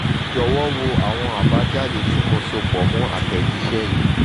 jọ̀wọ́ wo àwọn àbájáde tí mo so pọ̀ mọ́ àtẹ̀jíṣẹ́ yìí